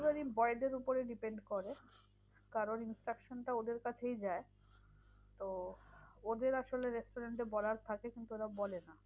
Delivery boys এর উপর depend করে কারণ instruction টা ওদের কাছেই যায় তো ওদের আসলে restaurant এ বলার থাকে কিন্তু ওরা বলে না।